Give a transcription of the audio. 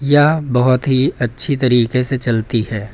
यह बहुत ही अच्छी तरीके से चलती है।